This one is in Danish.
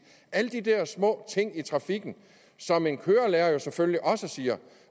alle de der små ting i trafikken som en kørelærer jo selvfølgelig også siger